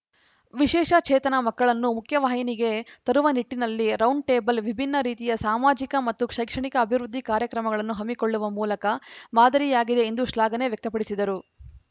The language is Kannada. ವಿಶೇಷ ಚೇತನ ಮಕ್ಕಳನ್ನು ಮುಖ್ಯವಾಹಿನಿಗೆ ತರುವ ನಿಟ್ಟಿನಲ್ಲಿ ರೌಂಡ್‌ಟೇಬಲ್‌ ವಿಭಿನ್ನ ರೀತಿಯ ಸಾಮಾಜಿಕ ಮತ್ತು ಶೈಕ್ಷಣಿಕ ಅಭಿವೃದ್ಧಿ ಕಾರ್ಯಕ್ರಮಗಳನ್ನು ಹಮ್ಮಿಕೊಳ್ಳುವ ಮೂಲಕ ಮಾದರಿಯಾಗಿದೆ ಎಂದು ಶ್ಲಾಘನೆ ವ್ಯಕ್ತಪಡಿಸಿದರು